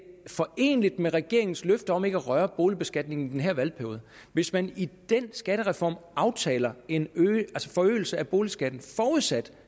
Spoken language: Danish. foreneligt med regeringens løfter om ikke at røre boligbeskatningen i den her valgperiode hvis man i den skattereform aftaler en forøgelse af boligskatten forudsat